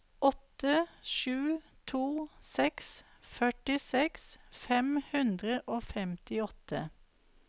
åtte sju to seks førtiseks fem hundre og femtiåtte